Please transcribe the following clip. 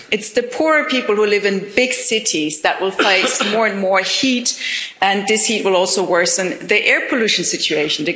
It's the poor people who live in big cities that will face more and more heat, and this heat will also worsen the air pollution situation.